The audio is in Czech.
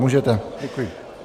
Můžete, děkuji.